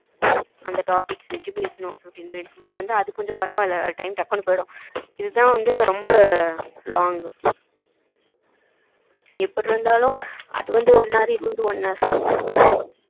அந்த topic வச்சி பேசுனோம் ten minits but அது கொஞ்சம் பரவ இல்ல time கொஞ்சம் டக்குனு போய்டும் இதுதான் வந்து ரொம்ப long எப்டி இருந்தாலும் அது வந்து one hour